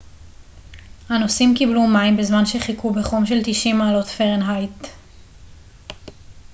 הנוסעים קיבלו מים בזמן שחיכו בחום של 90 מעלות פרנהייט